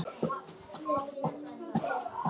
Og einstigi hennar var sannarlega ekki vegur allra.